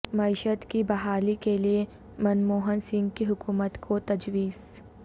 معیشت کی بحالی کیلئے منموہن سنگھ کی حکومت کو تجویز